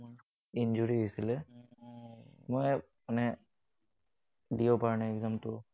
Injury হৈছিলে। মই মানে দিব পৰা নাই exam টো।